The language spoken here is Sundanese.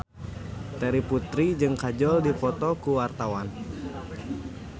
Terry Putri jeung Kajol keur dipoto ku wartawan